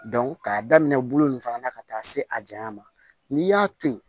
k'a daminɛ bolo nin fana na ka taa se a janya ma n'i y'a to yen